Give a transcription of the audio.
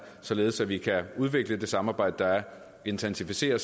således at vi kan udvikle det samarbejde der er og intensivere